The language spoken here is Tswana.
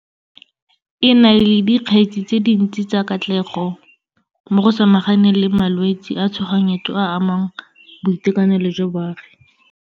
E na le di kgetse tse dintsi tsa katlego mo go samaganeng le malwetse a tshoganyetso a a amang boitekanelo jwa baagi.